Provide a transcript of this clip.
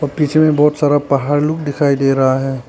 पीछे में बहुत सारा पहाड़ लोग दिखाई दे रहा है।